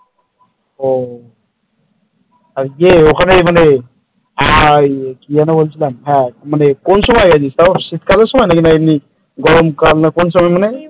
ও আর যে ওখানে মানে এই কি যেন বলছিলাম কোন সময় গিয়েছিলিস শীতকালের সময় নাকি এমনি গরমকাল না কোন সময় মানে ।